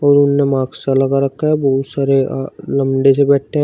और मास्क लगा रखा है बहुत सारे अ लौंडे से बैठे हैं।